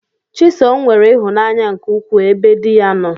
Chisom nwere ihụnanya nke ukwu ebe diya nno.